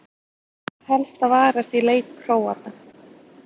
Hvað ber helst að varast í leik Króata?